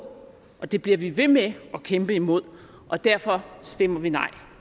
og det bliver vi ved med at kæmpe imod og derfor stemmer vi nej